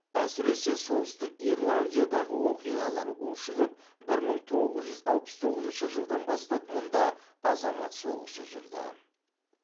әсіресе солтүстік ирландиядағы оқиғалар ушығып бір мың тоғыз жүз алпыс тоғызыншы жылдан бастап мұнда азамат соғысы жүрді